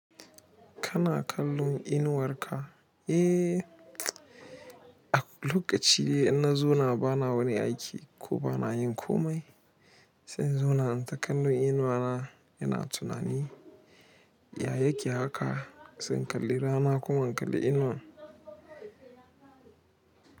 Kana kallon inuwar ka. Eh, a lokaci dai ina zauna bana wani aiki ko bana yin komai, sai in zauna in ta kallo inuwa na ina tunani. Yayake haka sai in kalli rana kuma in kalli inuwan.